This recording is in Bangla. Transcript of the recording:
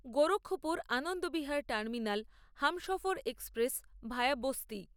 Gorakhpur Anand Vihar terminal Humsafar express via Basti